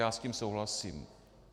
Já s tím souhlasím.